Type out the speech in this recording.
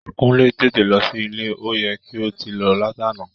Kúnlé, tètè lọ sí ilé, ó yẹ kí o ti lọ látàná!